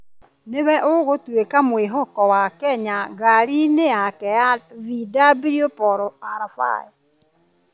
nĩ we ũgũtuĩka mwĩhoko wa Kenya ngari-inĩ yake ya VW Polo R5.